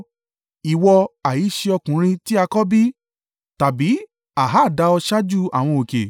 “Ìwọ ha í ṣe ọkùnrin tí a kọ́ bí? Tàbí a ha dá ọ ṣáájú àwọn òkè?